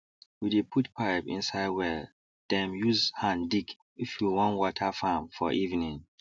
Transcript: we dey put pipe inside welldem use hand digif we wan water farm for evening